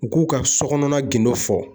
U k'u ka so kɔnɔna gindo fɔ.